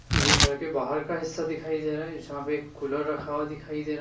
ये घर के बाहर का हिस्सा दिखाई दे रहा है जहां पर एक कुलर रखा हुआ दिखाई दे रा --